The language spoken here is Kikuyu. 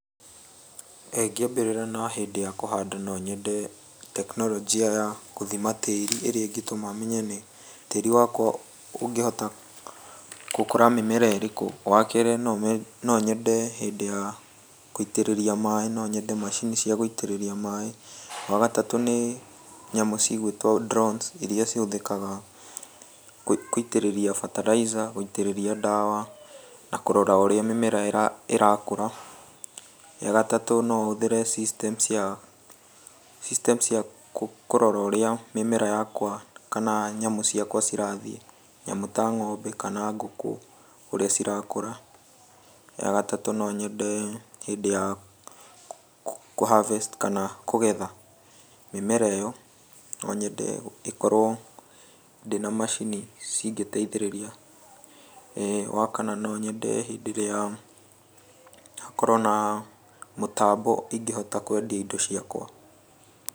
ĩĩ ngĩambĩrĩra na hĩndĩ ya kũhanda no nyende tekinoronjĩ ya gũthima tĩĩri ĩrĩa ĩngĩtũma menye nĩ tĩĩri wakwa ũngĩhota gũkũra mĩmera ĩrĩkũ. Wa kerĩ no nyende hĩndĩ ya gũitĩrĩria maĩ no nyende macini cia gũitĩrĩria maĩ. Wa gatatũ nĩ nyamũ cigũĩtwo drones iria cihũthĩkaga gũitĩrĩria fertilizer, gũitĩrĩria ndawa na kũrora ũrĩa mĩmera ĩrakũra. Ya gatatũ no hũthĩre system cia, system cia kũrora ũrĩa mĩmera yakwa kana nyamũ ciakwa cirathiĩ, nyamũ ta ng'ombe kana ngũkũ ũrĩa cirakũra. Ya gatatũ no nyende hĩndĩ ya kũ[harvest kana kũgetha mĩmera ĩyo, no nyende ĩkorwo ndĩ na macini cingĩteithĩrĩria. Wa kana no nyende hĩndĩ ĩrĩa, hakorwo na mũtambo ingĩhota kwendia indo ciakwa.